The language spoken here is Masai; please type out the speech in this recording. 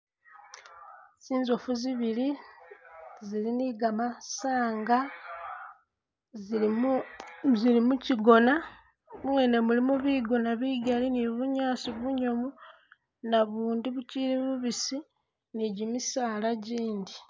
Zinzofu zibili zili ni gamasanga zili zili mukyigona muwene mulimo bigona bigali ni bunyasi bunyomu nabundi bukyili bubisi ni gimisaala gyindi.